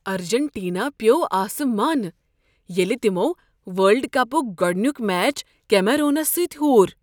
Argentina پیوٚو اسمانہٕ ییٚلہ تمو ورلڈ کپک گۄڈنیک میچ کیمرونس سۭتۍ ہوٗر۔